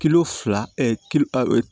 Kilo fila kir